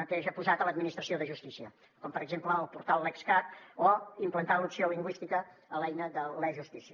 mateix ha posat a l’administració de justícia com per exemple el portal lexcat o implanta l’opció lingüística a l’eina de l’e justícia